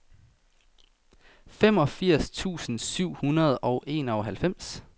femogfirs tusind syv hundrede og enoghalvfems